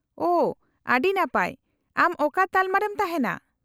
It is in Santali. -ᱳᱺ ,ᱟᱹᱰᱤ ᱱᱟᱯᱟᱭ ! ᱟᱢ ᱚᱠᱟ ᱛᱟᱞᱢᱟ ᱨᱮᱢ ᱛᱟᱦᱮᱸᱱᱟ ?